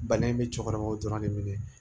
Bana in bɛ cɛkɔrɔbaw dɔrɔn de minɛ